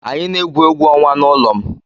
Anyị na-egwu egwu ọnwa n'ụlọ m.